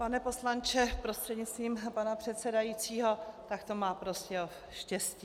Pane poslanče prostřednictvím pana předsedajícího, tak to má Prostějov štěstí.